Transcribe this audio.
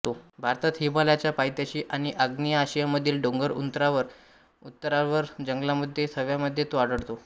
भारतात हिमालयाच्या पायथ्याशी आणि आग्नेय आशियामधील डोंगर उतारांवरील जंगलांमध्ये थव्यामध्ये तो आढळतो